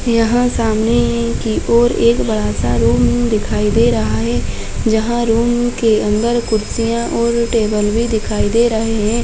यहाँ सामने की ओर एक बड़ा- सा रूम दिखाई दे रहा है जहाँ रूम के अंदर कुर्सियाँ और टेबल भी दिखाई दे रहॆ हैं।